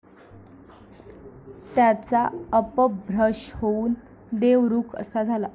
त्याचा अपभ्रंश होऊन देवरुख असा झाला.